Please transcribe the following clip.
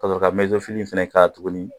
Kasɔrɔ ka ka tuguni